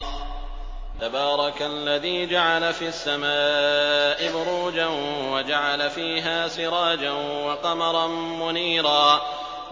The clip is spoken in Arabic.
تَبَارَكَ الَّذِي جَعَلَ فِي السَّمَاءِ بُرُوجًا وَجَعَلَ فِيهَا سِرَاجًا وَقَمَرًا مُّنِيرًا